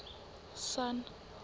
sun